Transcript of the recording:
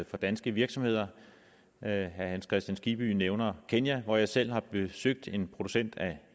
for danske virksomheder herre hans kristian skibby nævner kenya hvor jeg selv har besøgt en producent af